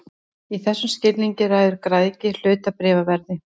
Í þessum skilningi ræður græðgi hlutabréfaverði.